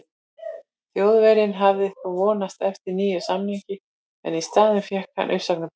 Þjóðverjinn hafði þó vonast eftir nýjum samningi en í staðinn fékk hann uppsagnarbréf.